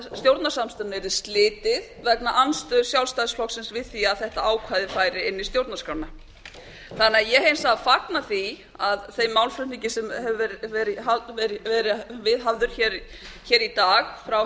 stjórnarsamstarfinu yrði slitið vegna andstöðu sjálfstæðisflokksins við því að þetta ákvæði færi inn í stjórnarskrána ég hins vegar fagna því þeim málflutningi sem hefur verið viðhafður hér í dag frá